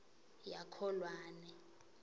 yakholwane